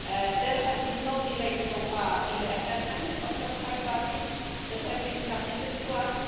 There have been no delays so far in the assessment of notified bodies that have been submitted to us.